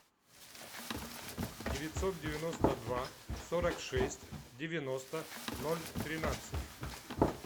девятьсот девяносто два сорок шесть девяносто ноль тринадцать